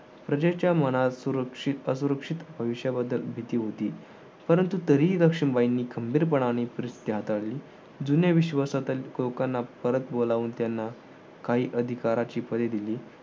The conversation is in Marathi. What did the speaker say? प्रजेच्या मनात सुरक्षित असुरक्षित भविष्याबद्दल भीती होती परंतु तरीही लक्ष्मीबाईंनी खंबीर पनाने परिस्थिती हाताळली जुन्या विश्वासातील लोकांना परत बोलावून त्यांना काही अधिकाराची पळी दिली.